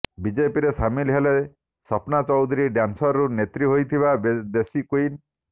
ବିଜେପିରେ ସାମିଲ ହେଲେ ସପନା ଚୌଧୁରୀ ଡ୍ୟାନ୍ସରରୁ ନେତ୍ରୀ ହୋଇଥିବା ଦେଶୀ କ୍ୱିନ